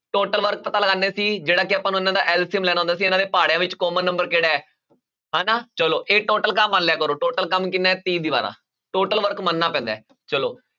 Total work ਪਤਾ ਲਗਾਉਂਦੇ ਸੀ ਜਿਹੜਾ ਕਿ ਆਪਾਂ ਨੂੰ ਇਹਨਾਂ ਦਾ LCM ਲੈਣਾ ਹੁੰਦਾ ਸੀ ਵਿੱਚ common number ਕਿਹੜਾ ਹੈ ਹਨਾ ਚਲੋ ਇਹ total ਕੰਮ ਮੰਨ ਲਿਆ ਕਰੋ total ਕੰਮ ਕਿੰਨਾ ਹੈ ਤੀਹ ਦੀਵਾਰਾਂ total work ਮੰਨਣਾ ਪੈਂਦਾ ਹੈ ਚਲੋ